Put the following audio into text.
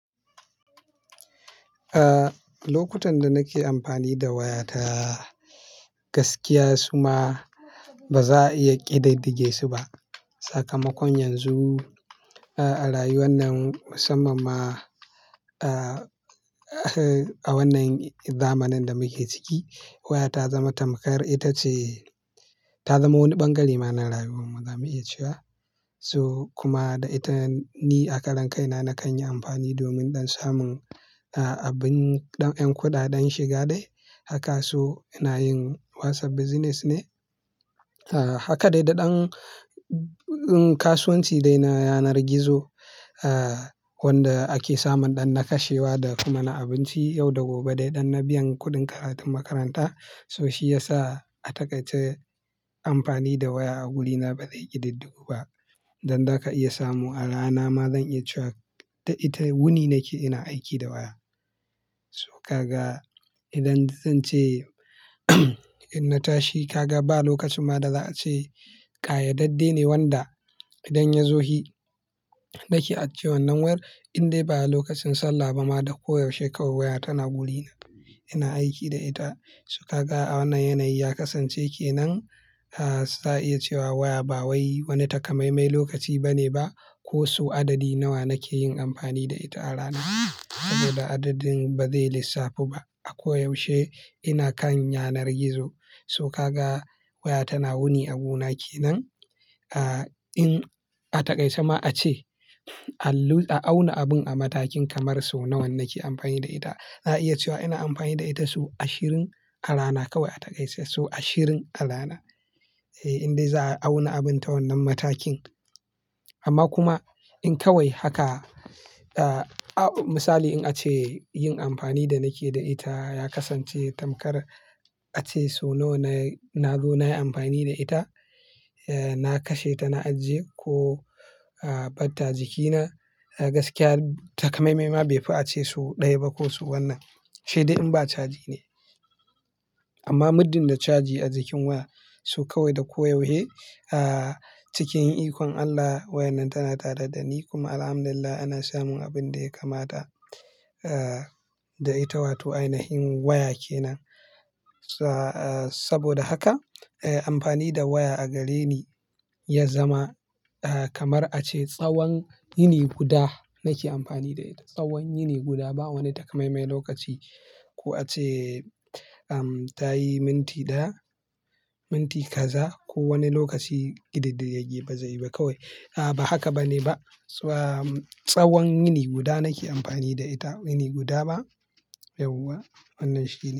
Eh, lokutan da nake amfani da wayata gaskiya su ma ba za a iya ƙididdige su ba. Sakamakon yanzu, a rayuwar nan musamman ma, a wannan zamanin da muke ciki waya ta zama tamkar ita ce ta zamo wani bangare mara lafiya za mu iya cewa. So kuma da ita ni a kalankaina na kan yi amfani domin don samun abin ɗan 'yan kuɗa don shiga dai haka. So ina yin WhatsApp business ne. Haka dai da ɗan kasuwanci dai na yanar gizo wanda ake samun ɗan na kashewa da kuma na abinci yau da gobe dai ɗan na biyan kuɗin karatun makaranta. So shi ya sa a takaice amfani da waya a wurina ba zai ƙididdu ba. Dan za ka iya samu a rana ma zan iya cewa ita wuni nake ina aiki da waya. So ka ga idan zan ce in na tashi ka ga ba lokacin ma da za a ce ka ya dadde ne wanda idan ya zo hi, daki ace wannan war in dai ba lokacin sallah ba ma da koyaushe kawai waya tana wurina ina aiki da ita. So ka ga a wannan yanayi ya kasance ke nan, za a iya cewa waya ba wai wani takamaimai lokaci bane ba. Ko so adadi nawa nake yin amfani da ita a rana? Saboda adadin ba zai lissafta ba. A koyaushe ina kan yanar gizo. So ka ga waya tana wuni abu na ke nan. In a takaice ma ace a auna abun a matakin kamar so nawa nake amfani da ita. Za a iya cewa ina amfani da ita so ashirin a rana kawai a takaice so ashirin a rana. Indai za a auna abin ta wannan matakin. Amma kuma in kawai haka, misali in ace yin amfani da nake da ita ya kasance tamkar ace so nawa na zo na yi amfani da ita. Na kashe ta na ajiye ko bar ta jikina. Gaskiya takamaimai ma be fi ace so ɗaya ba ko su wannan shaiɗi in ba caji ne. Amma muddin da caji a jikin waya so kawai da koyaushe, a cikin ikon Allah wayar nan tana tada da ni. Kuma Alhamdulillah ana samun abin da ya kamata da ita wato ainihin waya kenan. Saboda haka amfani da waya a gare ni ya zama kamar ace tsawon yini guda nake amfani da ita. Tsawon yini guda ba wani takamaimai lokaci ko ace ta yi minti daya, minti kaza ko wani lokaci ƙididdige ba zai yi ba kawai. A'a, ba haka bane ba. Tsawon yini guda nake amfani da ita, yini guda ba yauwa wannan shaiɗi.